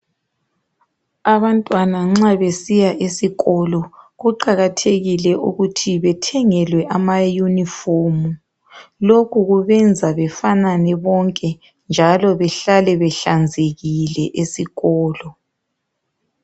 Abantwana nxa besiya esikolo kuqakathekile ukuthi bethengelwe amayunifomu lokhu kubenza befanane bonke njalo behlale behlanzekile esikolo.